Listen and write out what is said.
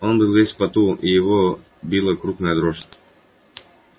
он был весь в поту и его била крупная дрожь